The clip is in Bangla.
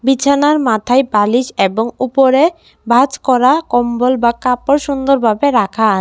বিছানার মাথায় বালিশ এবং উপরে ভাঁজ করা কম্বল বা কাপড় সুন্দরভাবে রাখা।